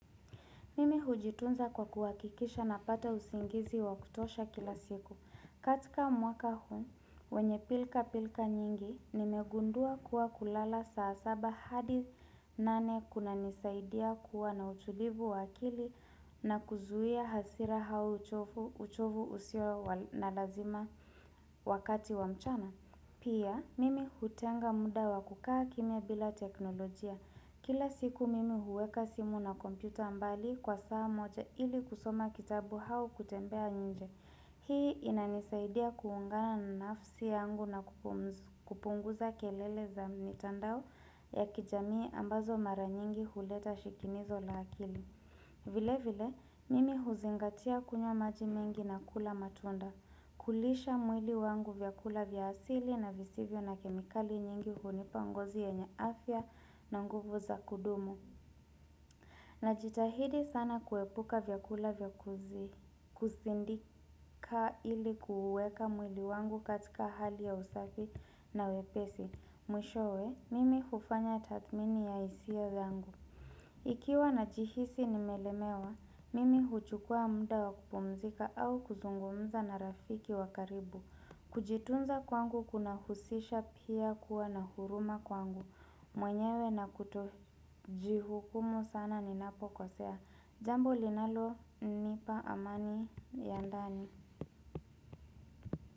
Mimi hujitunza kwa kuhakikisha napata usingizi wa kutosha kila siku. Katika mwaka huu, wenye pilka pilka nyingi, nimegundua kuwa kulala saa saba hadi nane kunanisaidia kuwa na utulivu wakili na kuzuia hasira au uchovu usio na lazima wakati wa mchana. Pia, mimi hutenga muda wa kukaa kimya bila teknolojia. Kila siku mimi huweka simu na kompyuta mbali kwa saa moja ili kusoma kitabu au kutembea nje. Hii inanisaidia kuungana na nafsi yangu na kupunguza kelele za mitandao ya kijamii ambazo mara nyingi huleta shikinizo la akili. Vile vile, mimi huzingatia kunywa maji mengi na kula matunda. Kulisha mwili wangu vyakula vya asili na visivyo na kemikali nyingi hunipa ngozi yenye afya na nguvu za kudumu Najitahidi sana kuepuka vyakula vya kuzi kuzindika ili kuuweka mwili wangu katika hali ya usafi na wepesi. Mwishowe, mimi hufanya tathmini ya hisia zangu Ikiwa najihisi nimelemewa, mimi huchukua muda wa kupumzika au kuzungumza na rafiki wa karibu Kujitunza kwangu kunahusisha pia kuwa na huruma kwangu mwenyewe na kutojihukumu sana ninapokosea Jambo linalonipa amani ya ndani.